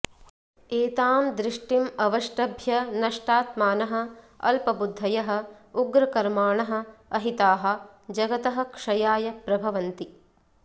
एतां दृष्टिम् अवष्टभ्य नष्टात्मानः अल्पबुद्धयः उग्रकर्माणः अहिताः जगतः क्षयाय प्रभवन्ति